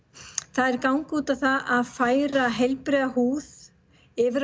þær ganga út á að færa heilbrigða húð yfir